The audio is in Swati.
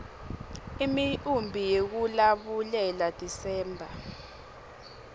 imiumbi yekulabulela desember